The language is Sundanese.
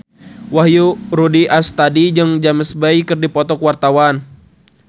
Wahyu Rudi Astadi jeung James Bay keur dipoto ku wartawan